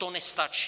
To nestačí.